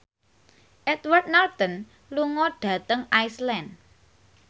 Edward Norton lunga dhateng Iceland